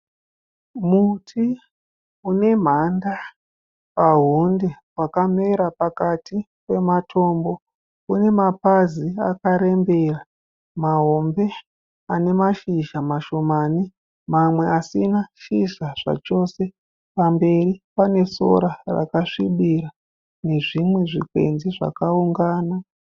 Muti une mhanda pahunde wakamera pakati pematombo. Une mapazi akarembera mahombe ane mashizha mashomane uye mamwe asina shizha zvachose. Pamberi pane sora rakasvibira nezvimwe zvikwenzi zvakaungana.